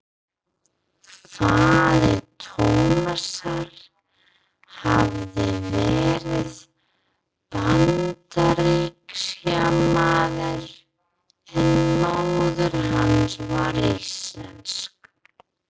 Faðir Tómasar hafði verið Bandaríkjamaður en móðir hans var íslensk.